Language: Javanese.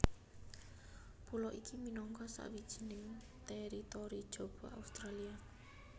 Pulo iki minangka sawijining teritori jaba Australia